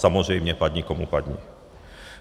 Samozřejmě padni komu padni.